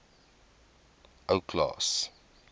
ou klaas